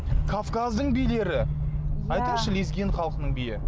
кавказдың билері айтыңызшы лезгин халқының биі